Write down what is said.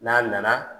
N'a nana